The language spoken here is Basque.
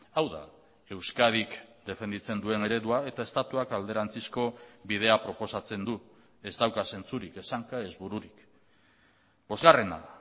hau da euskadik defenditzen duen eredua eta estatuak alderantzizko bidea proposatzen du ez dauka zentzurik ez hanka ez bururik bosgarrena